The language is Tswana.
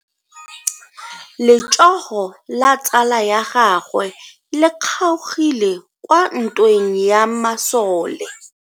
Letsogo la tsala ya gagwe le kgaogile kwa ntweng ya masole.